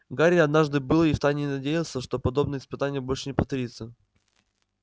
гарри однажды был и в тайне надеялся что подобное испытание больше не повторится